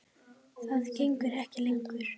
Það gengur ekki lengur.